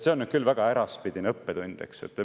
See on nüüd küll väga äraspidine õppetund, eks.